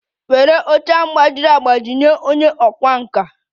Were oche ahụ gbajiri agbaji nye onye ọkwá nkà!